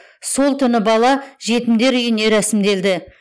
сол түні бала жетімдер үйіне рәсімделді